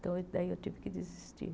Então daí eu tive que desistir.